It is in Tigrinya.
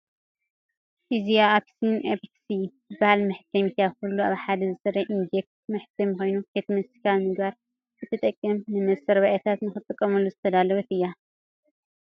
እዚኣ ኤፕሰን ኤክስፒ-4105 እትበሃል መሕተሚት እያ። ኩሉ ኣብ ሓደ ዝሰርሕ ኢንክጀት መሕተሚ ኮይኑ፤ ሕትመት ስካን ምግባር እትጠቅም ንመስራቤታት ንኽትጥቀሙላ ዝተዳለወት እያ።